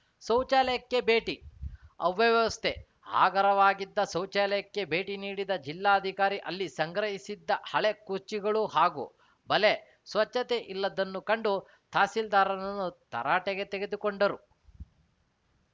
ಶೌಚಾಲಯಕ್ಕೆ ಭೇಟಿ ಅವ್ಯವಸ್ಥೆ ಆಗರವಾಗಿದ್ದ ಶೌಚಾಲಯಕ್ಕೆ ಭೇಟಿ ನೀಡಿದ ಜಿಲ್ಲಾಧಿಕಾರಿ ಅಲ್ಲಿ ಸಂಗ್ರಹಿಸಿದ್ದ ಹಳೆ ಕುರ್ಚಿಗಳು ಹಾಗೂ ಬಲೆ ಸ್ವಚ್ಛತೆ ಇಲ್ಲದ್ದನ್ನು ಕಂಡು ತಹಸೀಲ್ದಾರ್‌ರನ್ನು ತರಾಟೆ ತೆಗೆದುಕೊಂಡರು